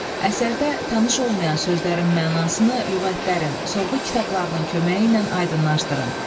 Əsərdə tanış olmayan sözlərin mənasını lüğətlərin, sorğu kitablarının köməyi ilə aydınlaşdırın.